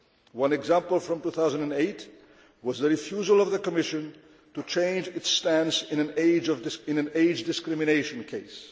One example from 2008 was the refusal of the Commission to change its stance in an age discrimination case.